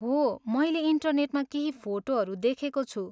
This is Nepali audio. हो, मैले इन्टरनेटमा केही फोटोहरू देखेको छु।